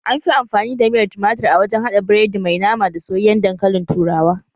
Anfi amfani da miyar tumatir a wajen haɗa biredi mai nama da soyayyen dankalin turawa